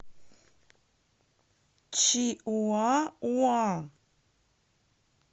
чиуауа